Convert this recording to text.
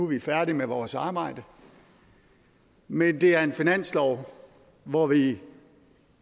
vi færdige med vores arbejde men det er en finanslov hvor vi